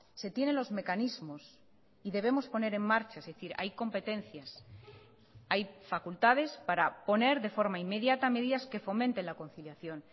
se tiene los mecanismos y debemos poner en marcha es decir hay competencias hay facultades para poner de forma inmediata medidas que fomenten la conciliación